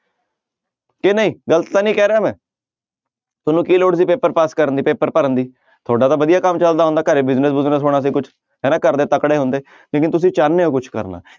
ਕਿ ਨਹੀਂ ਗ਼ਲਤ ਤਾਂ ਨੀ ਕਹਿ ਰਿਹਾ ਮੈਂ ਤੁਹਾਨੂੰ ਕੀ ਲੋੜ ਸੀ ਪੇਪਰ ਪਾਸ ਕਰਨ ਦੀ ਪੇਪਰ ਭਰਨ ਦੀ ਤੁਹਾਡਾ ਤਾਂ ਵਧੀਆ ਕੰਮ ਚੱਲਦਾ ਹੁੰਦਾ, ਘਰੇ business ਬੁਜਨਸ ਹੋਣਾ ਸੀ ਕੁਛ ਹਨਾ ਘਰਦੇ ਤਕੜੇ ਹੁੰਦੇ ਲੇਕਿੰਨ ਤੁਸੀਂ ਚਾਹੁੰਦੇ ਹੋ ਕੁਛ ਕਰਨਾ।